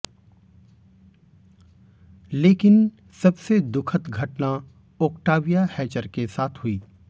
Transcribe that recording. लेकिन सबसे दुखद घटना ओक्टाविया हैचर के साथ हुई